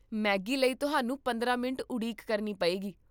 Maggi ਲਈ ਤੁਹਾਨੂੰ ਪੰਦਰਾਂ ਮਿੰਟ ਉਡੀਕ ਕਰਨੀ ਪਵੇਗੀ